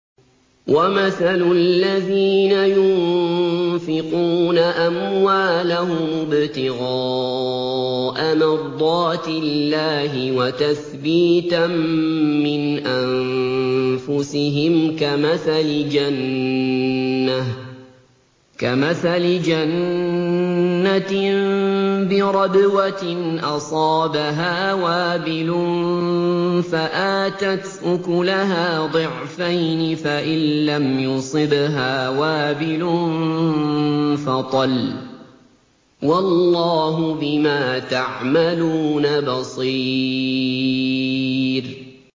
وَمَثَلُ الَّذِينَ يُنفِقُونَ أَمْوَالَهُمُ ابْتِغَاءَ مَرْضَاتِ اللَّهِ وَتَثْبِيتًا مِّنْ أَنفُسِهِمْ كَمَثَلِ جَنَّةٍ بِرَبْوَةٍ أَصَابَهَا وَابِلٌ فَآتَتْ أُكُلَهَا ضِعْفَيْنِ فَإِن لَّمْ يُصِبْهَا وَابِلٌ فَطَلٌّ ۗ وَاللَّهُ بِمَا تَعْمَلُونَ بَصِيرٌ